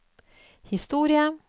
historie